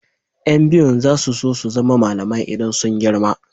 Yan biyun za su so su zama malamai idan suka girma.